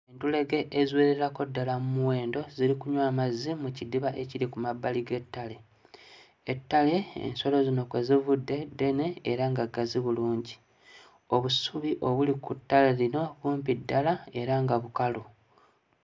Entulege eziwererako ddala mmuwendo ziri kunywa mazzi mu kidiba ekiri ku mabbali g'ettale, ettale ensolo zino kwe zivudde ddene era nga gazzi bulungi, obusubi obuli ku ttale lino bumpi ddala era nga bukalu.